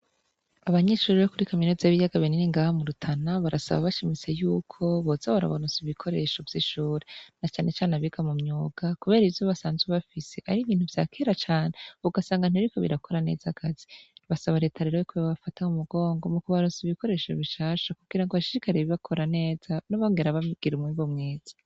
Abanyeshuri bo kuri kaminuza z'ibiyaga binini ngaha murutana barasaba bashimitse yuko boza barabaronsa ibikoresho vy'ishure na canecane abiga mu myuga, kubera ivyo basanzwe bafise ar'ibintu vyakera cane ugasanga ntibiriko birakora neza akazi basaba reta rero ko yobafata mu mugongo mu kubaronsa ibikoresho bishasha kugira ngo bashishikarire bakora neza bongere bagira umwimbu mwiza.